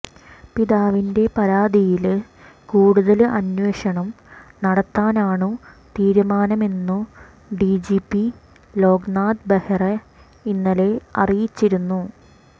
പിതാവിന്റെ പരാതിയില് കൂടുതല് അന്വേഷണം നടത്താനാണു തീരുമാനമെന്നു ഡിജിപി ലോക്നാഥ് ബെഹ്റ ഇന്നലെ അറിയിച്ചിരുന്നു